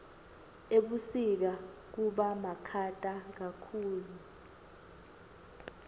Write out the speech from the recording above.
ebusika kubamakhata kakhulu